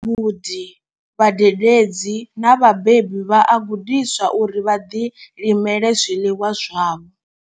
Vhagudi, vhadededzi na vhabebi vha a gudiswa uri vha ḓilimele zwiḽiwa zwavho.